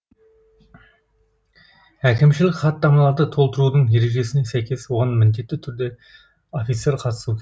әкімшілік хаттамаларды толтырудың ережесіне сәйкес оған міндетті түрде офицер қатысуы керек